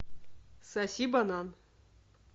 соси банан